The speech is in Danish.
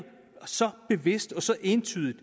så bevidst og så entydigt